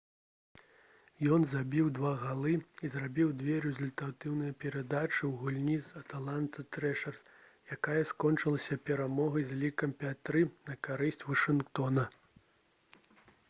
ён забіў 2 галы і зрабіў 2 рэзультатыўныя перадачы ў гульні з «атланта трэшэрс» якая скончылася перамогай з лікам 5—3 на карысць вашынгтона